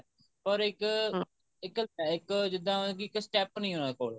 ਪਰ ਇੱਕ ਇੱਕ ਜਿੱਦਾਂ ਕਿ ਇੱਕ step ਨਹੀਂ ਉਹਨਾ ਕੋਲ ਇੱਕ